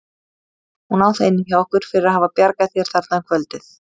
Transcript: Hún á það inni hjá okkur fyrir að hafa bjargað þér þarna um kvöldið.